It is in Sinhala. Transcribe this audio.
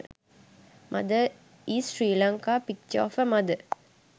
mother in sri lanka picture of a mother